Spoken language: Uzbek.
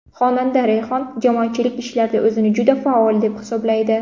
Xonanda Rayhon jamoatchilik ishlarida o‘zini juda faol deb hisoblaydi.